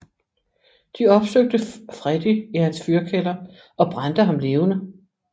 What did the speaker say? De opsøgte Freddy i hans fyrkælder og brændte ham levende